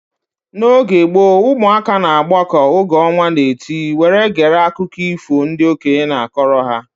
N'oge gboo, ụmụaka na agbako oge ọnwa na-eti were gere akụkọ ifo ndị okenye na-akọrọ ha